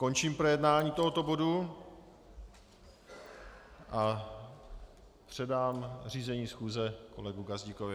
Končím projednání tohoto bodu a předám řízení schůze kolegovi Gazdíkovi.